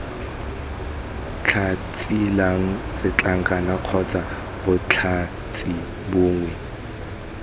tlhatsilang setlankana kgotsa botlhatsi bongwe